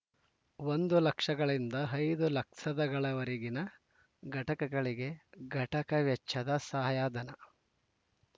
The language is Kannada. ಒಂದು ಲಕ್ಷಗಳಿಂದ ಐದು ಲಕ್ಷದಗಳವರೆಗಿನ ಘಟಕಗಳಿಗೆ ಘಟಕ ವೆಚ್ಚದ ಸಹಾಯಧನ